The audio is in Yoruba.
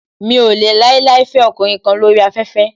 Mi ò lè láíláí fẹ ọkùnrin kan lóri afẹ́fẹ́.